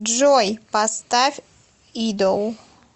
джой поставь идол